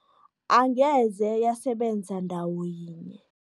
Angeze yasebenza ndawo yinye.